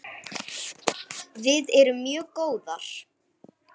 Við erum mjög góðar.